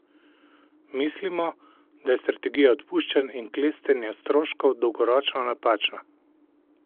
Mislimo, da je strategija odpuščanj in klestenja stroškov dolgoročno napačna.